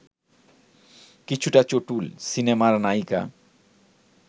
কিছুটা চটুল, সিনেমার নায়িকা